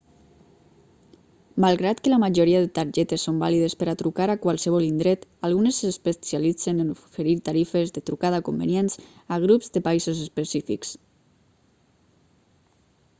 malgrat que la majoria de targetes són vàlides per a trucar a qualsevol indret algunes s'especialitzen en oferir tarifes de trucada convenients a grups de països específics